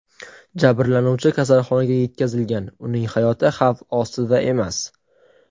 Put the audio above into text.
Jabrlanuvchi kasalxonaga yetkazilgan, uning hayoti xavf ostida emas.